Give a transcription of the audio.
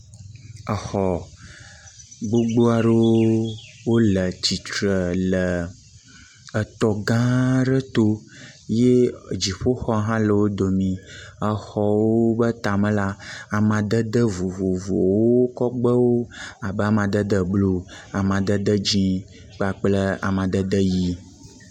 Exɔ gbogbo aɖewo wole tsitre le etɔ gã aɖe to ye dziƒoxɔ hã le wo domii exɔwo ƒe tame la, amadede vovovowo kɔ gbewo abe amadede blu, amadede dzi kpakple amadede dzi.